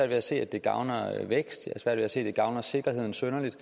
ved at se at det gavner vækst og sikkerhed synderligt